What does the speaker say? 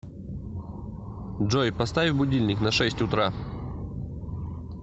джой поставь будильник на шесть утра